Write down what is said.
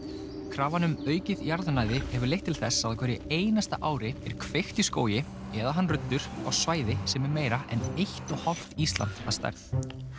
krafan um aukið jarðnæði hefur leitt til þess að á hverju einasta ári er kveikt í skógi eða hann ruddur á svæði sem er meira en eitt og hálft Ísland að stærð